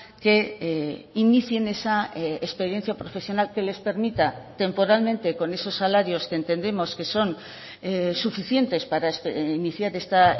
que inicien esa experiencia profesional que les permita temporalmente con esos salarios que entendemos que son suficientes para iniciar esta